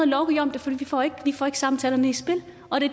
lovgive om det for vi får ikke samtalerne i spil